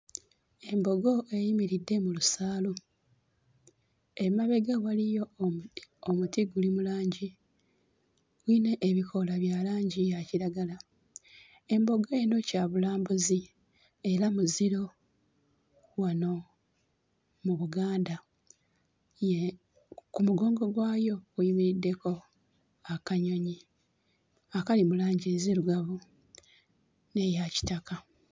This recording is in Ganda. Embogo eyimiridde mu lusaalu, emabega waliyo omuti, omuti guli mu langi ne ne ebikoola bya langi yakiragala. Embogo eno kyabulambuzi era muziro wano mu Buganda ye ku mugongo gwayo kuyimiriddeko akanyonyi akali mu langi enzirugavu n'eyakitaka.